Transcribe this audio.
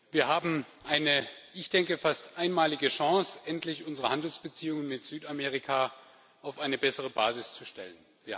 Wir haben eine wohl fast einmalige Chance, endlich unsere Handelsbeziehungen mit Südamerika auf eine bessere Basis zu stellen.